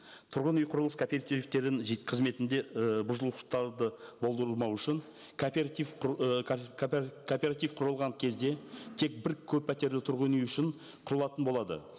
тұрғын үй құрылыс кооперативтерін қызметінде ы бұзушылықтарды болдырмау үшін кооператив кооператив құрылған кезде тек бір көппәтерлі тұрғын үй үшін құрылатын болады